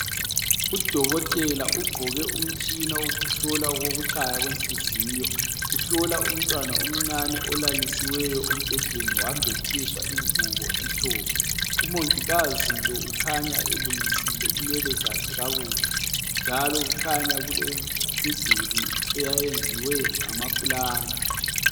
Udokotela ugqoke umtshina wokuhlola okokutshaya kwenhliziyo, uhlola umntwana omncane olalisiweyo embhedeni wembathiswa ingubo emhlophe. Umongikazi lo ukhanya elungisile inwele zakhe kakuhle, njalo kukhanya kulemiduli eyayenziwe ngamapulanka.